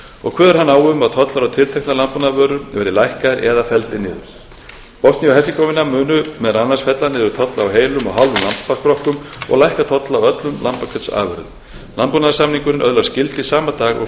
og kveður hann á um að tollar á tilteknar landbúnaðarvörur verði lækkaðir eða felldir niður bosnía og hersegóvína mun meðal annars fella niður tolla á heilum og hálfum lambaskrokkum og lækka tolla á öðrum lambakjötsafurðum landbúnaðarsamningurinn öðlast gildi sama dag og